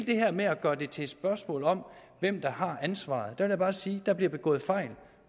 det her med at gøre det til et spørgsmål om hvem der har ansvaret vil jeg bare sige at der bliver begået fejl